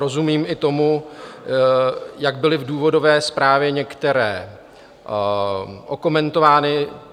Rozumím i tomu, jak byly v důvodové zprávě některé okomentovány.